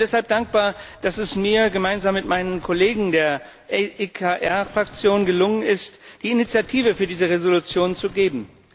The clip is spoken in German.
Ich bin deshalb dankbar, dass es mir gemeinsam mit meinen Kollegen der EKR Fraktion gelungen ist, die Initiative für diese Entschließung zu geben.